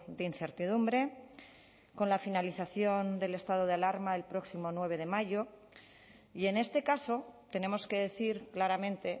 de incertidumbre con la finalización del estado de alarma el próximo nueve de mayo y en este caso tenemos que decir claramente